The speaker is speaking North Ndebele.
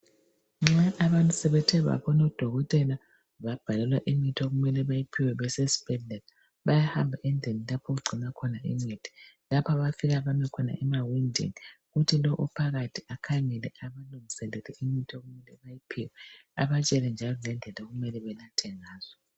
Nxa abantu sebethe babona udokotela babhalelwa imithi okumele bayiphiwe besesibhedlela bayahamba endlini lapho okugcinwa khona imithi lapha abafika bame khoma emawindini kukhona ophakathi akhangele abalungiselele imithi okumele bakuphiwe abatshele njalo ngendlela okumele banathe ngazo.